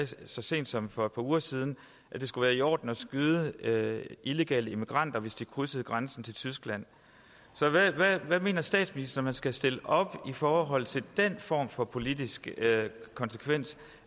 så sent som for et par uger siden at det skulle være i orden at skyde illegale immigranter hvis de krydsede grænsen til tyskland så hvad mener statsministeren man skal stille op i forhold til den form for politisk konsekvens